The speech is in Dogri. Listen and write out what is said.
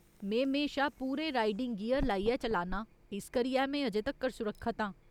में म्हेशा पूरे राइडिंग गियर लाइयै चलान्नां, इस करियै में अजें तक्कर सुरक्खत आं।